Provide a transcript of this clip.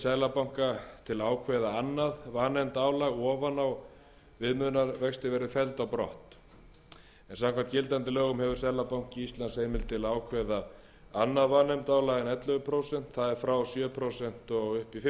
seðlabanka til að ákveða annað vanefndaálag ofan á viðmiðunarvexti verði felld brott en samkvæmt gildandi lögum hefur seðlabanki íslands heimild til að ákveða annað vanefndaálag en ellefu prósent það er frá sjö prósent og upp í fimmtán